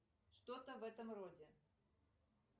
что то в этом роде